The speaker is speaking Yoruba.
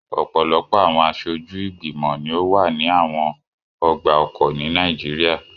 Ọpọlọpọ awọn aṣoju igbimọ ni o wa ni awọn ọgba-ọkọ ni Nàìjíríà